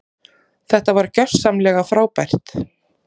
Þetta var gjörsamlega frábært.